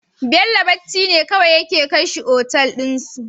Bello bacci ne kawai yake kai shi otal din su